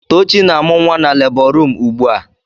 Tochi na-amụ nwa na lebọ ruum ugbu a.